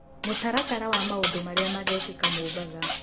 mũtaratara wa maũndũ marĩa magekĩka mombatha